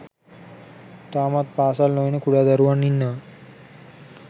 තාමත් පාසල් නොයන කුඩා දරුවන් ඉන්නවා.